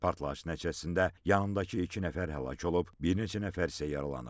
Partlayış nəticəsində yanındakı iki nəfər həlak olub, bir neçə nəfər isə yaralanıb.